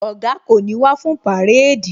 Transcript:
Oga kò ní wá fún parade